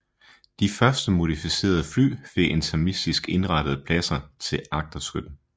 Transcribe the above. De første modificerede fly fik intermistisk indrettede pladser til agterskytten